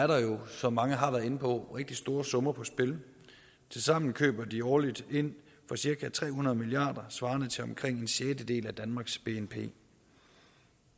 der jo som mange har været inde på rigtig store summer på spil tilsammen køber de årligt ind for cirka tre hundrede milliard svarende til omkring en sjettedel af danmarks bnp